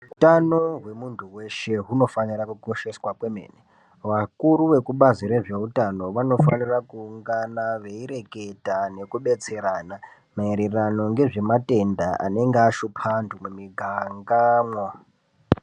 Hutano hwemuntu weshe unofana kukosheswa kwemene vakuru vekubazi rezvehutano vanofana kuungana nekureketa nekubetserana maererano nezvematenda anenge ashupa antu mumigangamwo.